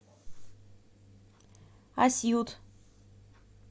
асьют